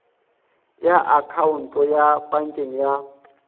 ya akhaonto ya pankeng ya